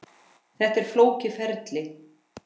Þetta er flókið ferli.